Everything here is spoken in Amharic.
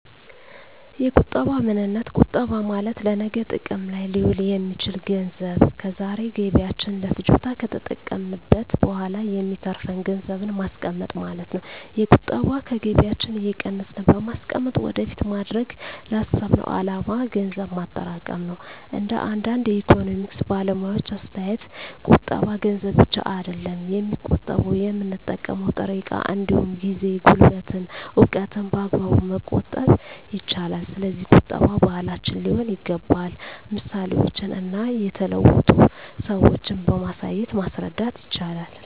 የቁጠባ ምንነት ቁጠባ ማለት ለነገ ጥቅም ላይ ሊውል የሚችል ገንዘብ ከዛሬ ገቢያችን ለፍጆታ ከተጠቀምንት በኋላ የሚተርፍን ገንዘብን ማስቀመጥ ማለት ነው። የቁጠባ ከገቢያችን እየቀነስን በማስቀመጥ ወደፊት ማድረግ ላሰብነው አላማ ገንዘብ ማጠራቀም ነው። እንደ አንዳንድ የኢኮኖሚክስ ባለሙያዎች አስተያየት ቁጠባ ገንዘብ ብቻ አይደለም የሚቆጠበው የምንጠቀመው ጥሬ እቃ እንዲሁም ጊዜ፣ ጉልበትን፣ እውቀትን በአግባቡ መቆጠብ ይቻላል። ስለዚህ ቁጠባ ባህላችን ሊሆን ይገባል ምሳሌዎችን እና የተለወጡ ሰዎችን በማሳየት ማስረዳት ይቻላል